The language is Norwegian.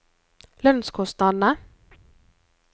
lønnskostnadene